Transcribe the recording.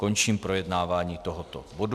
Končím projednávání tohoto bodu.